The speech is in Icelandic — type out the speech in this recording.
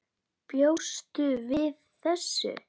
Bjóstu við þessu?